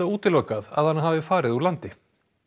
útilokað að hann hafi farið úr landi